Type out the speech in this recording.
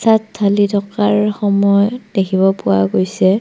ইয়াত ঢালি থকাৰ সময় দেখিব পোৱা গৈছে।